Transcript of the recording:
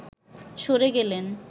সরে গেলেন